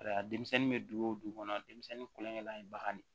Ayiwa denmisɛnnin bɛ dugu o dugu kɔnɔ denmisɛnnin kulonkɛ bagan de